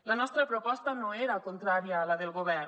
la nostra proposta no era contrària a la del govern